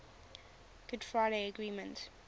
good friday agreement